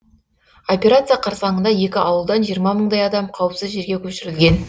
операция қарсаңында екі ауылдан жиырма мыңдай адам қауіпсіз жерге көшірілген